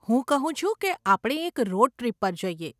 હું કહું છું કે આપણે એક રોડ ટ્રીપ પર જઈએ.